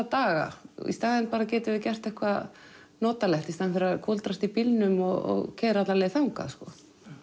daga í staðinn getum við gert eitthvað notalegt í staðinn fyrir að kúldrast í bílnum og keyra alla leið þangað sko